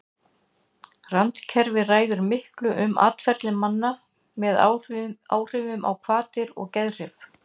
randkerfið ræður miklu um atferli manna með áhrifum á hvatir og geðhrif